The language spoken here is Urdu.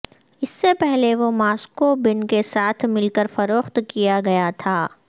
اس سے پہلے وہ ماسکو بن کے ساتھ مل کر فروخت کیا گیا تھا